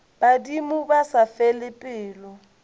badimo ba sa fele pelo